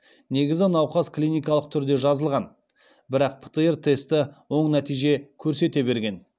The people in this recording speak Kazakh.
негізі науқас клиникалық түрде жазылған бірақ птр тесті оң нәтиже көрсете берген